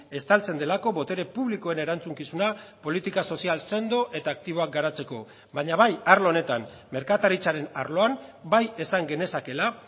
estaltzen delako botere publikoen erantzukizuna politika sozial sendo eta aktiboak garatzeko baina bai arlo honetan merkataritzaren arloan bai esan genezakeela